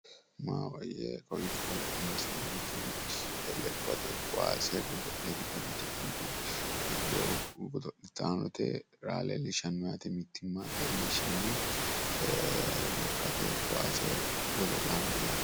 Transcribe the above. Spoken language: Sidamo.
maahoyye kowiicho la'neemmoti lekkate kowaase godo'le giddo mitte ikkitinoti giddo godo'laanote raa mittimma leellishshanno yaate lekkate kowaase godo'laanooti yaate.